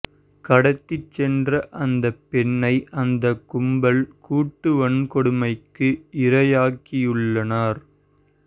கடத்தி சென்ற அந்த பெண்ணை அந்த கும்பல் கூட்டு வன்கொடுமைக்கு இரையாக்கியுள்ளனர்